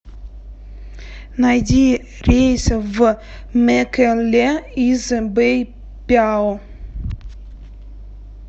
найди рейс в мэкэле из бэйпяо